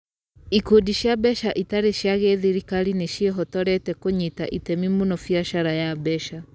Ikundi cia mbeca itarĩ cia gĩthirikari nĩ ciĩhotorete kũnyita itemi mũno biacara ya mbeca.